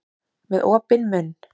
Með opinn munn.